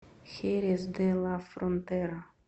херес де ла фронтера